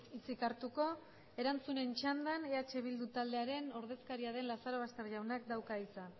hitzik hartuko erantzunen txandan eh bildu taldearen ordezkaria den lazarobaster jaunak dauka hitza